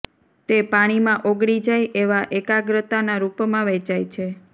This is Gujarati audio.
તે પાણીમાં ઓગળી જાય તેવા એકાગ્રતાના રૂપમાં વેચાય છે